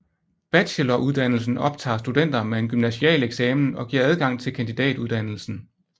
Bacheloruddannelsen optager studenter med en gymnasial eksamen og giver adgang til kandidatuddannelsen